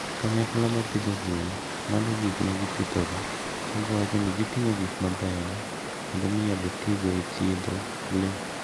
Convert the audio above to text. Kanyakla ma pidho gwen lando gik ma gipidhogo ka giwacho ni giting'o gik mabeyo kendo minyalo tigo e thiedho le.